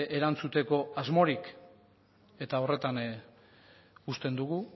erantzuteko asmorik eta horretan uzten dugu